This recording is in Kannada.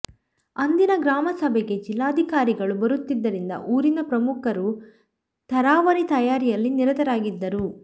ಅಂದಿನ ಗ್ರಾಮಸಭೆಗೆ ಜಿಲ್ಲಾಧಿಕಾರಿಗಳು ಬರುತ್ತಿದ್ದರಿಂದ ಊರಿನ ಪ್ರಮುಖರು ತರಾವರಿ ತಯಾರಿಯಲ್ಲಿ ನಿರತರಾಗಿದ್ದರು